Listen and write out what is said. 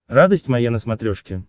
радость моя на смотрешке